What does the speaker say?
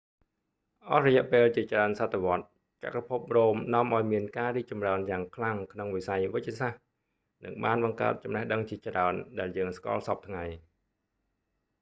អស់រយៈពេលជាច្រើនសតវត្សរ៍ចក្រភពរ៉ូមនាំឱ្យមានការរីកចម្រើនយ៉ាងខ្លាំងក្នុងវិស័យវេជ្ជសាស្ត្រ និងបានបង្កើតចំណេះដឹងជាច្រើន ដែលយើងស្គាល់សព្វថ្ងៃ